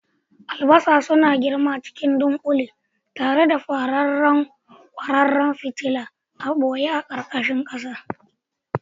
Albasa suna girma cikin dunƙule tare da fararen kwararan fitila a ɓoye a ƙarƙashin ƙasa.